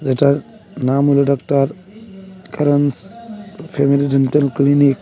যেটার নাম হলো doctor Karans family dental clinic.